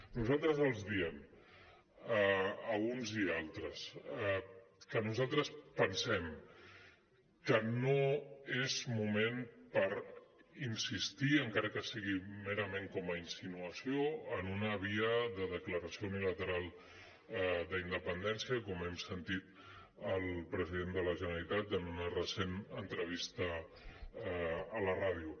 nosaltres els diem a uns i a altres que nosaltres pensem que no és moment per insistir encara que sigui merament com a insinuació en una via de declaració uni·lateral d’independència com hem sentit al president de la generalitat en una recent entrevista a la ràdio